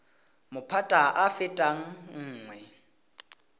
maphata a a fetang nngwe